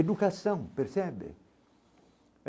Educação, percebe?